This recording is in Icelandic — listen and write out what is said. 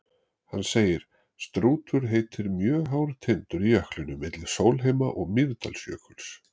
Hann segir: Strútur heitir mjög hár tindur í jöklinum milli Sólheima- og Mýrdalsjökuls.